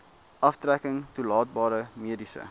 aftrekking toelaatbare mediese